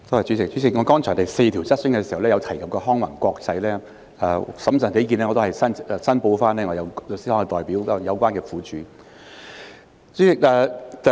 主席，剛才第四項質詢時，我曾提及康宏環球，審慎起見，我要申報我的律師行是有關苦主的代表。